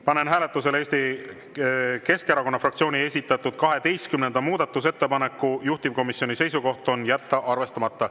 Panen hääletusele Eesti Keskerakonna fraktsiooni esitatud 12. muudatusettepaneku, juhtivkomisjoni seisukoht on jätta arvestamata.